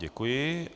Děkuji.